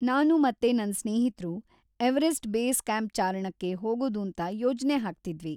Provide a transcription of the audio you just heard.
ನಾನು ಮತ್ತೆ ನನ್ ಸ್ನೇಹಿತ್ರು ಎವರೆಸ್ಟ್ ಬೇಸ್ ಕ್ಯಾಂಪ್ ಚಾರಣಕ್ಕೆ ಹೋಗೋದೂಂತ ಯೋಜ್ನೆ ಹಾಕ್ತಿದ್ವಿ.